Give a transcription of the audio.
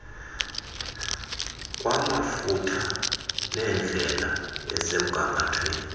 kwamafutha nendlela esemgangathweni